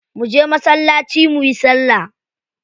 Mu je masallaci muyi salla.